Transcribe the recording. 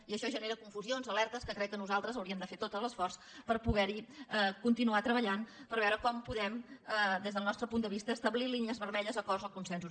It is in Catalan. i això genera confusions alertes que crec que nosaltres hi hauríem de fer tot l’esforç per poderhi continuar treballant per veure com podem des del nostre punt de vista establir línies vermelles acords o consensos